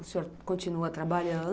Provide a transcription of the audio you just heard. O senhor continua trabalhando?